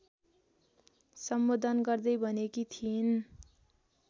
सम्बोधन गर्दै भनेकी थिइन्।